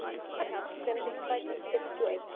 Bernharð, hvenær kemur strætó númer fimmtíu og eitt?